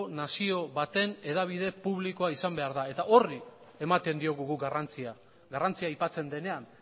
nazio baten hedabide publikoa izan behar da eta horri ematen diogu guk garrantzia garrantzia aipatzen denean